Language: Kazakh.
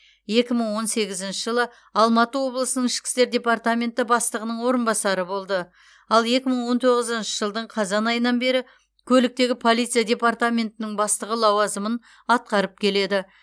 екі мың он сегізінші жылы алматы облысының ішкі істер департаментінің бастығының орынбасары болды ал екі мың он тоғызыншы жылдың қазан айынан бері көліктегі полиция департаментінің бастығы лауазымын атқарып келеді